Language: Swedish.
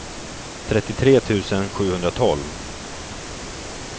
trettiotre tusen sjuhundratolv